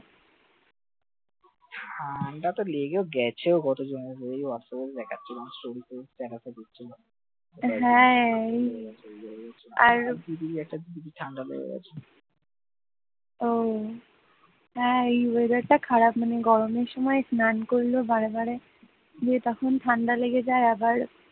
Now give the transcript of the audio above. হ্যাঁ, এই weather খারাপ মানে গরমে স্নান করলে বারে বারে, ইয়ে তখন ঠান্ডা লেগে যায় আবার,